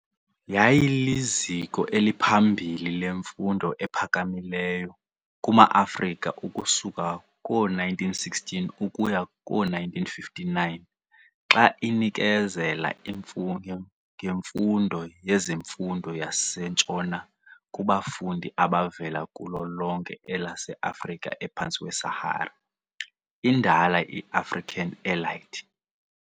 Yayiliziko eliphambili lemfundo ephakamileyo kuma-Afrika ukusuka koo-1916 ukuya koo-1959 xa inikezela ngemfundo yezemfundo yaseNtshona kubafundi abavela kulo lonke elase-Afrika ephantsi kwe-Sahara, indala i-African elite.